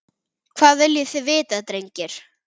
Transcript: Hvað viljið þið vita drengir?